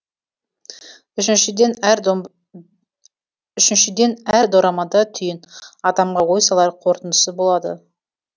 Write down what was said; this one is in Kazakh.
үшіншіден әр дорамада түйін адамға ой салар қорытындысы болады